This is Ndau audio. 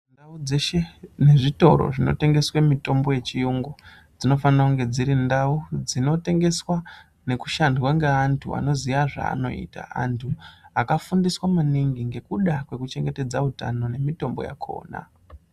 Ndau dzeshe dzinezvitoro zvinotengeswe mitombo yechiyungu dzinofana kunge dzirindau dzinotengeswa ngekushandwa ngeantu anoziya zvaanoita. Antu akafundiswa maningi ngekuda kwekuchengetedza utano nemitombo yakona.